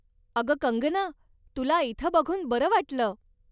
अगं कंगना, तुला इथं बघून बरं वाटलं.